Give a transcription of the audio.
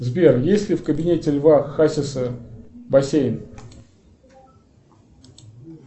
сбер есть ли в кабинете льва хасиса бассейн